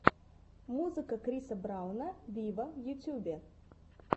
музыка криса брауна виво в ютубе